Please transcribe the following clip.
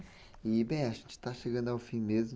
E, bem, a gente está chegando ao fim mesmo.